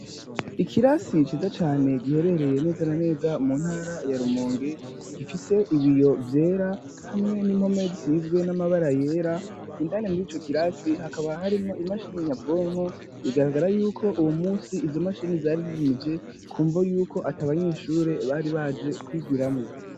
Ikirasi ciza cane giherereye neza na neza mu ntara ya Rumonge gifise ibiyo vyera hamwe n'impome zisizwe n'amabara yera indane muri ico kirasi hakaba harimo imashini nyabwonko igaragara yuko uwo munsi izo mashini zari zizimije kumva yuko ati abanyeshure bari baje kwigiramo.